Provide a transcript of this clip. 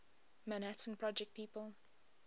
manhattan project people